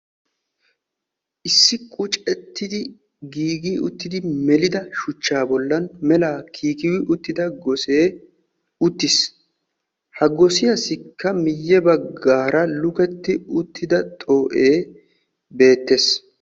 Issi qucettiddi melidda bollan melidda gosee uttiis. Ha gosiyassi miyiyan lukettidda xoo'ee beetes.